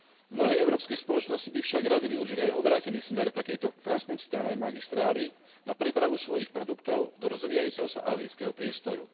Mnohé európske spoločnosti by však rady využili aj obrátený smer takejto transkontinentálnej magistrály na prepravu svojich produktov do rozvíjajúceho sa ázijského priestoru.